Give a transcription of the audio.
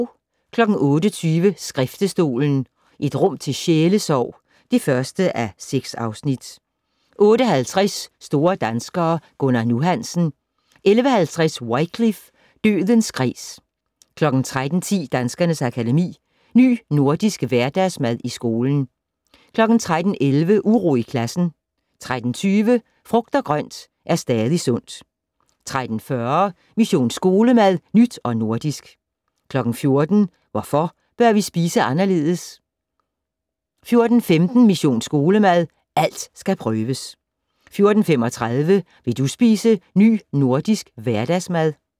08:20: Skriftestolen - et rum til sjælesorg (1:6) 08:50: Store danskere - Gunnar "Nu" Hansen. 11:50: Wycliffe: Dødens kreds 13:10: Danskernes Akademi: Ny Nordisk Hverdagsmad i skolen 13:11: Uro i klassen 13:20: Frugt og grønt er stadig sundt 13:40: Mission Skolemad: Nyt og nordisk 14:00: Hvorfor bør vi spise anderledes? 14:15: Mission Skolemad: Alt skal prøves 14:35: Vil du spise Ny Nordisk Hverdagsmad?